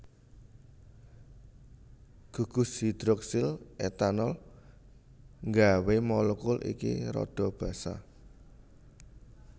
Gugus hidroksil etanol nggawé molekul iki rada basa